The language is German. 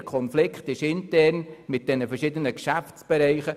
der Konflikt besteht intern in Bezug auf die verschiedenen Geschäftsbereiche.